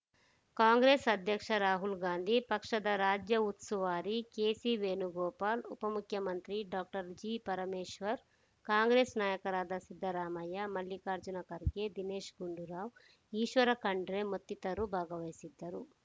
ಕಾಂಗ್ರೆಸ್‌ ಅಧ್ಯಕ್ಷ ರಾಹುಲ್‌ ಗಾಂಧಿ ಪಕ್ಷದ ರಾಜ್ಯ ಹುಸುವಾರಿ ಕೆಸಿವೇಣುಗೋಪಾಲ್‌ ಉಪಮುಖ್ಯಮಂತ್ರಿ ಡಾಕ್ಟರ್ ಜಿಪರಮೇಶ್ವರ್‌ ಕಾಂಗ್ರೆಸ್‌ ನಾಯಕರಾದ ಸಿದ್ದರಾಮಯ್ಯ ಮಲ್ಲಿಕಾರ್ಜುನ ಖರ್ಗೆ ದಿನೇಶ್‌ ಗುಂಡೂರಾವ್‌ ಈಶ್ವರ ಖಂಡ್ರೆ ಮತ್ತಿತರರು ಭಾಗವಹಿಸಿದ್ದರು